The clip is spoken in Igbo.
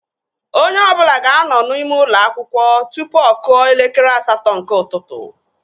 Onye ọbụla ga-anọ n'ime ụlọ akwụkwọ tụpụ ọ kụọ elekere asatọ nke ụtụtụ